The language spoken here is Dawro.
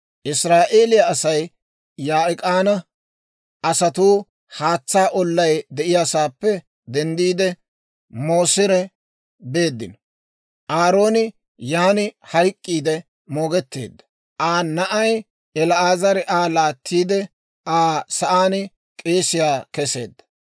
«Israa'eeliyaa Asay Yaa'ik'aana asatuu haatsaa ollay de'iyaasaappe denddiide, Mooseri beeddino. Aarooni yan hayk'k'iide moogetteedda; Aa na'ay El"aazari Aa laattiide, Aa sa'aan k'eesiyaa keseedda.